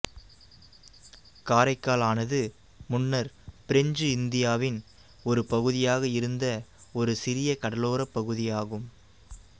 காரைக்கால் ஆனது முன்னர் பிரெஞ்சு இந்தியாவின் ஒரு பகுதியாக இருந்த ஒரு சிறிய கடலோரப் பகுதியாகும்